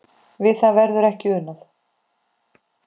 Við það verður ekki unað.